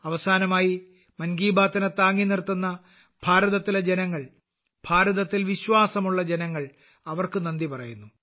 അവസാനമായി മൻ കീ ബാത്തിനെ താങ്ങി നിർത്തുന്ന ഭാരതത്തിലെ ജനങ്ങൾ ഭാരതത്തിൽ വിശ്വാസമുള്ള ജനങ്ങൾ അവർക്ക് നന്ദി പറയുന്നു